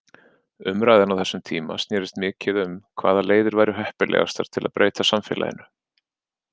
Umræðan á þessum tíma snerist mikið um hvaða leiðir væru heppilegastar til að breyta samfélaginu.